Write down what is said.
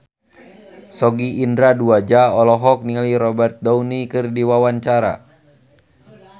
Sogi Indra Duaja olohok ningali Robert Downey keur diwawancara